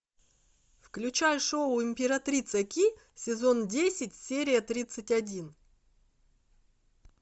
включай шоу императрица ки сезон десять серия тридцать один